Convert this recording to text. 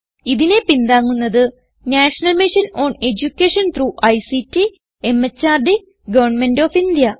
ഇതിനെ പിന്താങ്ങുന്നത് national mission on education through ICT MHRD government of India